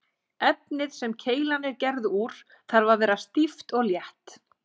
Efnið sem keilan er gerð úr þarf að vera stíft og létt.